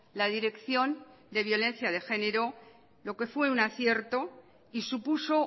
la dirección de violencia de género lo que fue un acierto y supuso